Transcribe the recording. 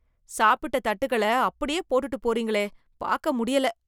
சாப்பிட்டத் தட்டுகளை அப்படியே போட்டுட்டு போறீங்களே, பாக்க முடியல.